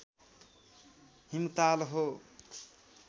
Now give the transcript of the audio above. हिमताल हो